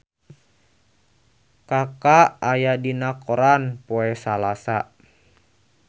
Kaka aya dina koran poe Salasa